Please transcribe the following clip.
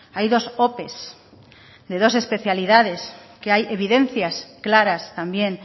hay dos ope de dos especialidades que hay evidencias claras también